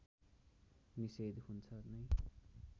निषेध हुन्छ नै